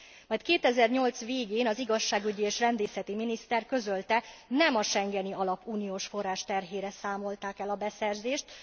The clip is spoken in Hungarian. Majd 2008 végén az igazságügyi és rendészeti miniszter közölte, nem a schengeni alap uniós forrás terhére számolták el a beszerzést.